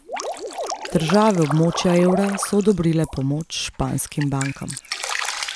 Države območja evra so odobrile pomoč španskim bankam.